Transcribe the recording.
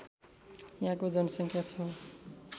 यहाँको जनसङ्ख्या ६